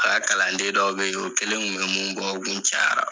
A ka kalanden dɔw be ye o kelen kun be mun bɔ o kun cayara.